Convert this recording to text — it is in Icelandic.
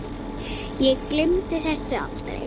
Ég gleymi þessu aldrei!